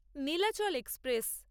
Nilachal express